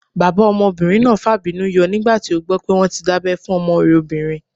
Bàbá ọmọbìnrin náà fàbínú yọ nígbà tí ó gbọ́ pé wọ́n tí dábẹ́ fún ọmọ rẹ̀ obìnrin